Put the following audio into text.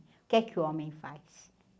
O que é que o homem faz?